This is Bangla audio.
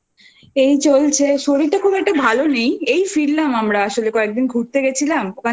এই চলছে শরীরটা খুব একটা ভালো নেই এই ফিরলাম আমরা আসলে কয়েকদিন ঘুরতে গেছিলাম